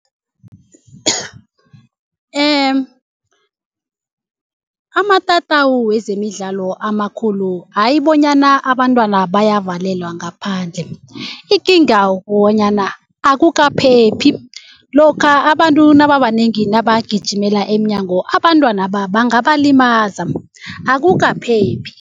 Amatatawu wezemidlalo amakhulu hayi bonyana abantwana bayavalelwa ngaphandle ikinga akukaphephi. Lokha abantu nababanengi nabagijimele emnyango abantwanaba bangabalimaza akukaphephi.